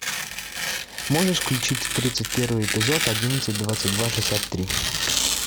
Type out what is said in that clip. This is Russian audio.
можешь включить тридцать первый эпизод одиннадцать двадцать два шестьдесят три